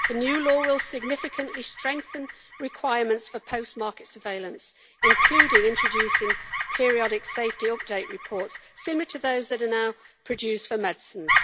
The new law will significantly strengthen requirements for post market surveillance, including introducing periodic safety update reports similar to those that are now produced for medicines.